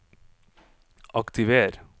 aktiver